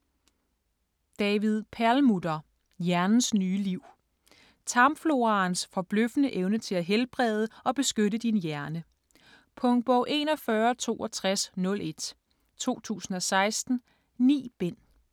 Perlmutter, David: Hjernens nye liv Tarmfloraens forbløffende evne til at helbrede og beskytte din hjerne. Punktbog 416201 2016. 9 bind.